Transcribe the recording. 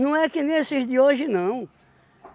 Não é que nem esses de hoje, não.